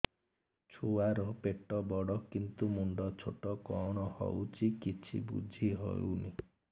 ଛୁଆର ପେଟବଡ଼ କିନ୍ତୁ ମୁଣ୍ଡ ଛୋଟ କଣ ହଉଚି କିଛି ଵୁଝିହୋଉନି